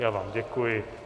Já vám děkuji.